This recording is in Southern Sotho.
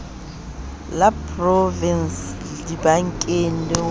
la provinse dibankeng le ho